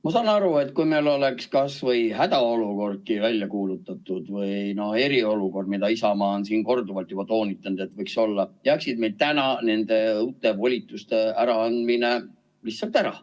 Ma saan aru, et kui meil oleks kasvõi hädaolukordki välja kuulutatud või eriolukord, mida Isamaa on siin korduvalt juba toonitanud, siis jääks meil täna nende volituste üleandmine lihtsalt ära.